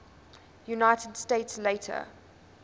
united states later